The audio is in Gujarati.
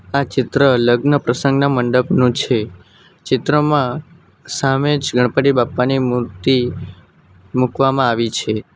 આ ચિત્ર લગ્ન પ્રસંગના મંડપનું છે ચિત્રમાં સામે જ ગણપતિ બાપ્પાની મૂર્તિ મૂકવામાં આવી છે.